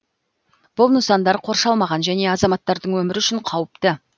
бұл нысандар қоршалмаған және азаматтардың өмірі үшін қауіпті